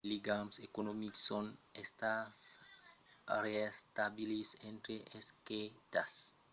de ligams economics son estats reestablits entre aquestas doas partidas de moldàvia malgrat lo fracàs de las negociacions politicas